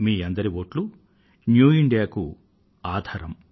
మీ అందరి వోట్లూ new India కు ఆధారం